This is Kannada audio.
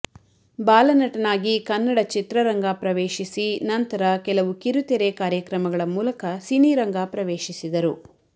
ಬಾಲನಟನಾಗಿ ಕನ್ನಡ ಚಿತ್ರರಂಗ ಪ್ರವೇಶಿಸಿ ನಂತರ ಕೆಲವು ಕಿರುತೆರೆ ಕಾರ್ಯಕ್ರಮಗಳ ಮೂಲಕ ಸಿನಿರಂಗ ಪ್ರವೇಶಿಸಿದರು